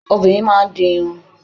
Obìnrin máà ń di irun